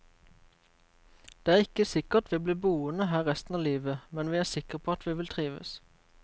Det er ikke sikkert vi blir boende her resten av livet, men vi er sikker på at vi vil trives.